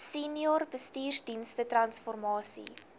senior bestuursdienste transformasie